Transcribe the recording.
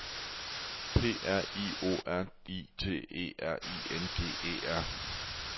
P R I O R I T E R I N G E R